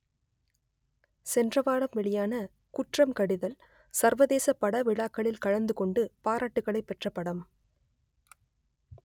சென்ற வாரம் வெளியான குற்றம் கடிதல் சர்வதேச படவிழாக்களில் கலந்து கொண்டு பாராட்டுகளை பெற்ற படம்